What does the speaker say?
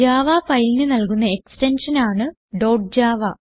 Java ഫയലിന് നൽകുന്ന എക്സ്റ്റൻഷനാണ് ഡോട്ട് ജാവ